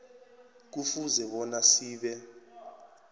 kufuze bona sibe